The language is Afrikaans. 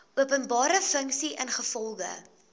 openbare funksie ingevolge